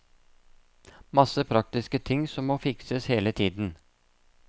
Masse praktiske ting som må fikses hele tiden.